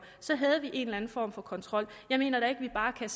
så havde vi en eller anden form for kontrol jeg mener ikke vi bare kan